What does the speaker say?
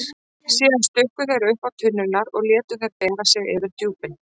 Síðan stukku þeir uppá tunnurnar og létu þær bera sig yfir djúpin.